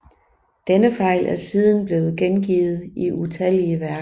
Denne fejl er siden blevet gengivet i utallige værker